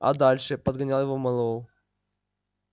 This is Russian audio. а дальше подгонял его мэллоу